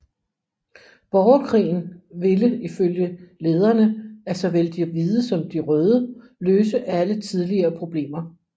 Borgerkrigen ville ifølge lederne af såvel de hvide som de røde løse alle tidligere problemer